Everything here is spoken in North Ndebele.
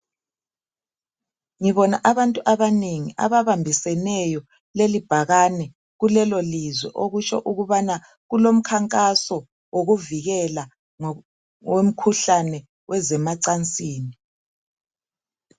Ngibona abantu abanengi ababambiseneyo leli bhakane kulelo lizwe okutsho ukubana kulomkhankaso wokuvikela ngokwemkhuhlane wezemacansini.